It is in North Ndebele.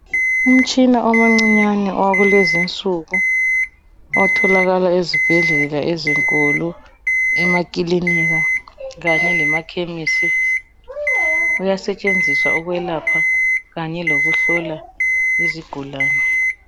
Umtshina omuncinyane wakulezi insuku otholakala esibhedlela ezinkulu, emakilinika kanye lemakhemesi. Uyasetshenziswa ukwelapha kanye lokuhlola izigulane.